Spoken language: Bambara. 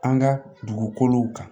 An ka dugukolow kan